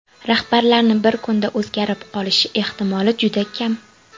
Rahbarlarni bir kunda o‘zgarib qolishi ehtimoli juda kam.